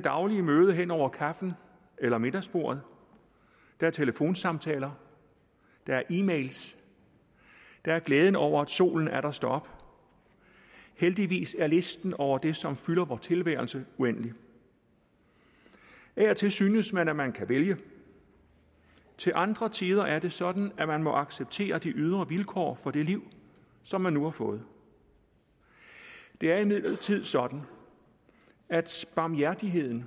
daglige møde hen over kaffen eller middagsbordet der er telefonsamtaler der er e mail der er glæden over at solen atter står op heldigvis er listen over det som fylder vor tilværelse uendelig af og til synes man at man kan vælge til andre tider er det sådan at man må acceptere de ydre vilkår for det liv som man nu har fået det er imidlertid sådan at barmhjertigheden